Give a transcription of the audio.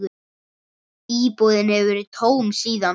Íbúðin hefur verið tóm síðan.